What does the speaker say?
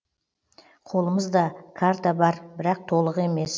қолымыз да карта бар бірақ толық емес